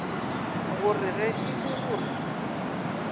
gore ge e le gore